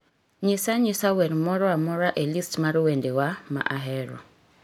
nyisa anyisa wer moro amora e list mar wendewa ma ahero